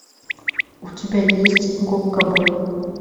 у тебя есть губка боб